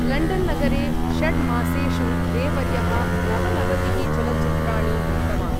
लण्डन्नगरे षड्मासेषु रे वर्यः नवनवतिः चलच्चित्राणि दृष्टवान्।